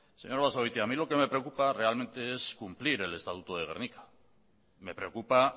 señor basagoiti a mí lo que me preocupa realmente es cumplir el estatuto de gernika me preocupa